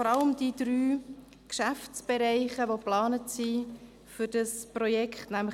Vor allem scheinen uns die für dieses Projekt geplanten Geschäftsbereiche äusserst wichtig: